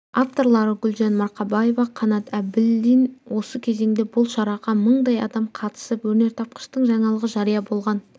авторлары гүлжан марқабаева қанад әбілдин осы кезеңде бұл шараға мыңдай адам қатысып өнертапқыштың жаңалығы жария болған